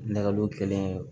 Nɛgɛjuru kelen